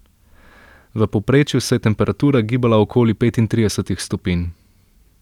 V povprečju se je temperatura gibala okoli petintridesetih stopinj.